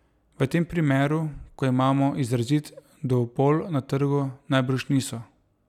V tem primeru, ko imamo izrazit duopol na trgu, najbrž niso.